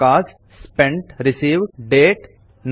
coast spent received date ಮತ್ತು account